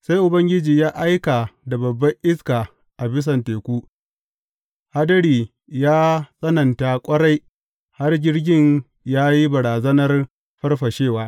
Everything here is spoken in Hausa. Sai Ubangiji ya aika da babban iska a bisan teku, hadiri ya tsananta ƙwarai har jirgin ya yi barazanar farfashewa.